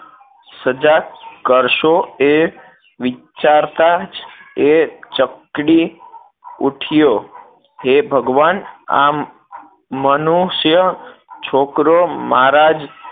સજા કરશો એ વિચારતાં જ એ ચકડી ઉઠ્યો હે ભગવાન આમ મનુષ્ય છોકરો મારા જ